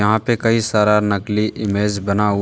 यहां पे कई सारा नकली इमेज बना हुआ--